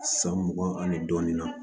San mugan ani dɔɔnin na